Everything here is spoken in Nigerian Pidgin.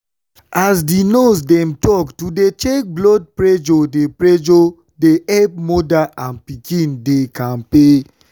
as di nurse dem talk to dey check blood pressure dey pressure dey epp moda and pikin dey kampe.